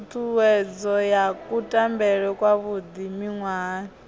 ṱhuṱhuwedzo ya kutambele kwavhuḓi miṅwahani